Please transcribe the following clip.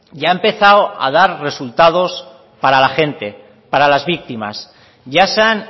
ya ha empezado a dar resultados para la gente para las víctimas ya se han